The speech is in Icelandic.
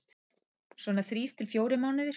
Svona þrír til fjórir mánuðir.